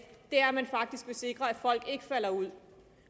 er at man faktisk vil sikre at folk ikke falder ud